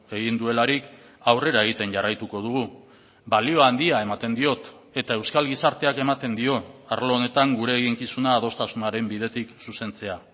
egin duelarik aurrera egiten jarraituko dugu balio handia ematen diot eta euskal gizarteak ematen dio arlo honetan gure eginkizuna adostasunaren bidetik zuzentzea